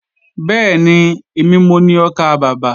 Bẹ́ẹ̀ni, èmi mo ni ọkàbàbà